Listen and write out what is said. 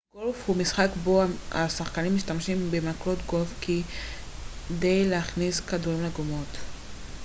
גולף הוא משחק בו השחקנים משתמשים במקלות גולף כדי להכניס כדורים לגומות